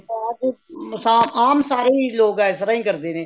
ਬਾਅਦ ਆਮ ਸਾਰੇ ਲੋਕ ਇਸ ਤਰ੍ਹਾਂ ਹੀ ਕਰਦੇ ਨੇ